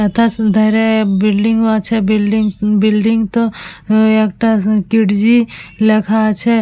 ইটা ওধারে বিল্ডিং -ও আছে বিল্ডিং টো একটা কিডজি লেখা আছে।